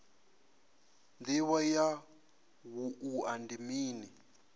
ndivho ya wua ndi mini